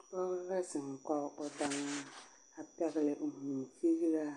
Pɔge la zeŋ kɔge o daŋaa a pɛgele o vūū figiraa